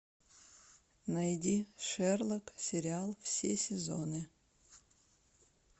найди шерлок сериал все сезоны